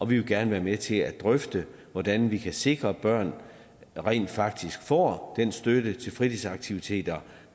vil gerne være med til at drøfte hvordan vi kan sikre at børn rent faktisk får del den støtte til fritidsaktiviteter